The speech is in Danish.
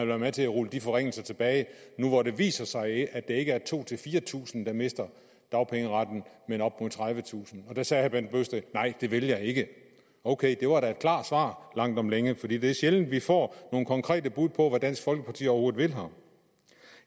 være med til at rulle de forringelser tilbage nu hvor det viser sig at det ikke er tusind fire tusind der mister dagpengeretten men op mod tredivetusind og der sagde herre bent bøgsted nej det vil jeg ikke ok det var da et klart svar langt om længe for det det er sjældent vi får nogle konkrete bud på hvad dansk folkeparti overhovedet vil her